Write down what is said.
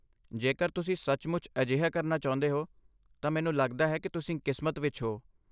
ਜੇਕਰ ਤੁਸੀਂ ਸੱਚਮੁੱਚ ਅਜਿਹਾ ਕਰਨਾ ਚਾਹੁੰਦੇ ਹੋ ਤਾਂ ਮੈਨੂੰ ਲੱਗਦਾ ਹੈ ਕਿ ਤੁਸੀਂ ਕਿਸਮਤ ਵਿੱਚ ਹੋ।